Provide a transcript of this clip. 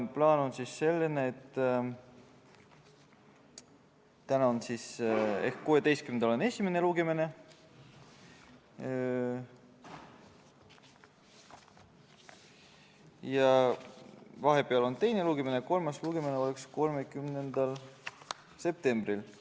Plaan on selline, et täna ehk 16. septembril on esimene lugemine, vahepeal on teine lugemine ja kolmas lugemine on 30. septembril.